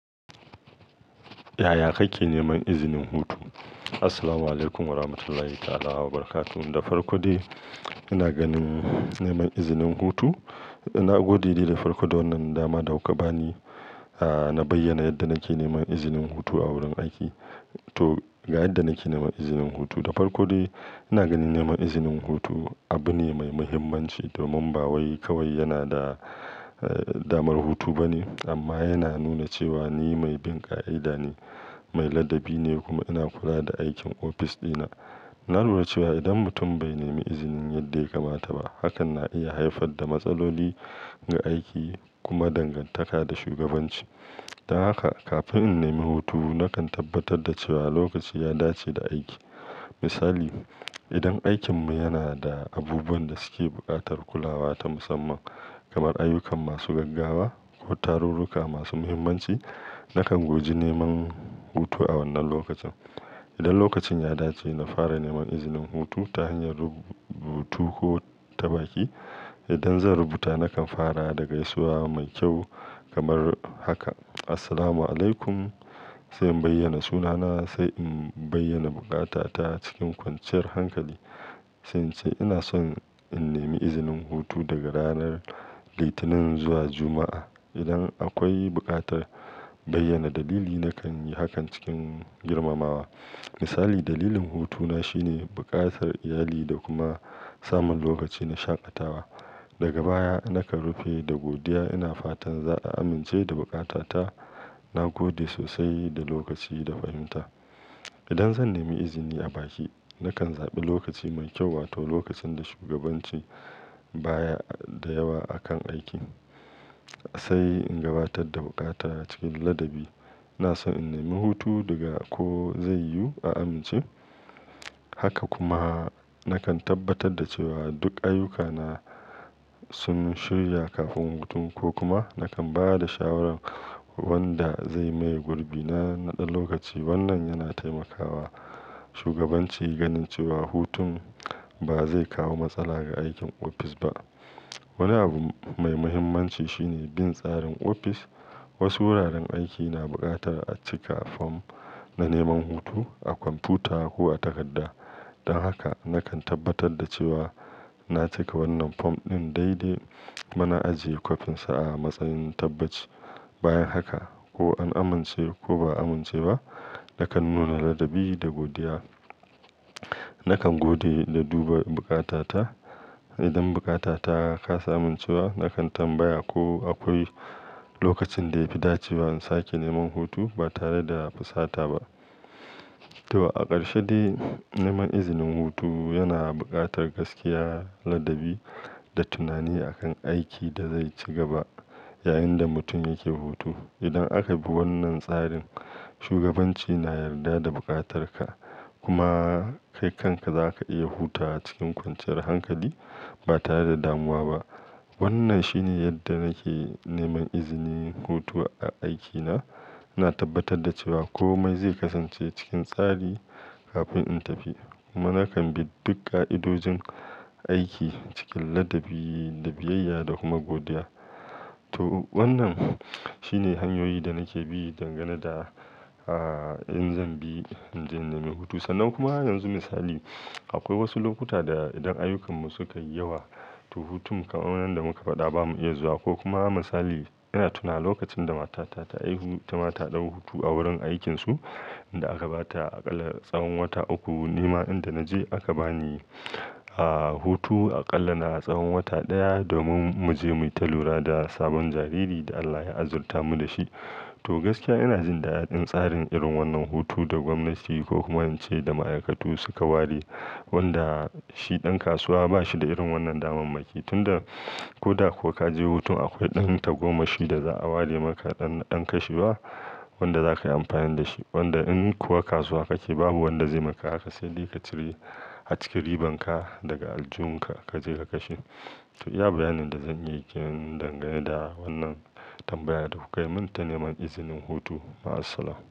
Yaya kake neman izinin hutu? Assalamualaikum Warahmatullahi Ta'ala Wabarakatuh. Da farko dai ina ganin neman izinin hutu, ina gode da farko da wannan dama da kuka bani, ah na bayyana yadda nake neman izinin hutu a wurin aiki. To, ga yadda nake neman izinin hutu. Da farko dai ina ganin neman izinin hutu abu ne mai muhimmanci domin ba wai kawai yana da, eh damar hutu bane amma yana nuna cewa ni mai bin ƙa'ida ne, mai ladabi ne kuma ina kula da aikin ofis ɗina. Na lura cewa idan mutum bai nemi izinin yadda ya kamata ba, hakan na iya haifar da matsaloli ga aiki kuma dangantaka da shugabanci. Don haka kafin in nemi hutu, nakan tabbatar da cewa lokaci ya dace da aiki. Misali, idan aikinmu yana da abubuwan da suke buƙatar kulawa ta musamman kamar ayyukan masu gaggawa ko tarurruka masu muhimmanci, nakan goji neman hutu a wannan lokacin. Idan lokacin ya dace, na fara neman izinin hutu ta hanyar rubutu ko ta baki. Idan zan rubuta, nakan fara da gaisuwa mai kyau kamar haka. "Assalamualaikum", sai in bayyana sunana, sai in bayyana buƙata ta cikin kwanciyar hankali, sai ince ina son in nemi izinin hutu daga ranar Litinin zuwa Juma'a. Idan akwai buƙatar bayyana dalili, nakan yi hakan cikin girmamawa. Misali, dalilin hutuna shine buƙatar iyali da kuma samun lokaci na shaƙatawa. Daga baya, nakan rufe da godiya. Ina fatan za a amince da buƙata ta. Na gode sosai da lokaci da fahimta. Idan zan nemi izini a baki, nakan zaɓa lokaci mai ƙyau wato lokacin da shugabanci baya da yawa akan aiki. Sai in gabatar da buƙata ta cikin ladabi. "ina son in nemi hutu daga ko zai yu a amince." Haka kuma nakan tabbatar da cewa duk ayyukana sun shirya kafin hutun ko kuma nakan ba da shawaran wanda zai maye gurbina na ɗan lokaci. Wannan yana taimakawa shugabanci ganin cewa hutun ba zai kawo matsala ga aikin ofis ba. Wani abu mai muhimmanci shine bin tsarin ofis. Wasu wuraren aiki na buƙatar a cika fom na neman hutu a kwamfuta ko a takarda. Don haka nakan tabbatar da cewa na cika wannan fom ɗin daidai kuma na ajiye kwafinsa a matsayin tabbaci. Bayan haka, ko an amince ko ba a amince ba, nakan nuna ladabi da godiya. Nakan gode da duba buƙata ta. Idan buƙata ta kasa amincewa, nakan tambaya ko akwai lokacin da ya fi dacewa in sake neman hutu ba tare da fusata ba. To a ƙarshe dai, neman izinin hutu yana buƙatar gaskiya, ladabi da tunani a kan aiki da zai ci gaba yayinda mutum yake hutu. Idan aka bi wannan tsarin, shugabanci na yarda da buƙatarka kuma kai kanka za ka iya hutawa cikin kwanciyar hankali ba tare da damuwa ba. Wannan shine yadda nake neman izinin hutu a aikina. Ina tabbatar da cewa komai zai kasance cikin tsari kafin in tafi kuma nakan bi duk ƙa'idojin aiki cikin ladabi, da biyayya da kuma godiya. To wannan shine hanyoyi da nake bi dangane da, ah, in zan bi, in zan nemi hutu. Sannan kuma yanzu misali, akwai wasu lokuta da idan ayyukan mu suka yi yawa, to hutun kamar wannan da muka faɗa ba mu iya zuwa ko kuma misali ina tuna lokacin da matata ta haihu itama ta ɗau hutu a wurin aikinsu, inda aka bata aƙalla tsawon wata uku. Ni ma inda na je aka bani, ah, hutu aƙalla na tsawon wata ɗaya domin mu je mu yita lura da sabon jariri da Allah ya azurta mu da shi. To gaskiya ina jin daɗin tsarin irin wannan hutu da gwamnati ko kuma in ce da ma'aikatu suka ware wanda shi ɗan kasuwa ba shi da irin wannan damammaki. Tun da ko da ko ka je hutu, akwai ɗan tagwammashi da za'a ware maka ɗan na ɗan kashewa wanda za ka yi amfani da shi. Wanda in kuwa kasuwa kake babu wanda zai maka haka, sai dai ka cire, a cikin riban ka daga aljun ka, ka je ka kashe. To iya bayanin da zan yi kenan dangane da wannan tambayar da kuka yi min ta neman izinin hutu. Ma'asalama.